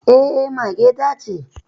Eh mage ta ce